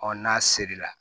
n'a seri la